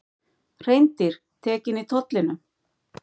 Hreindýr tekin í tollinum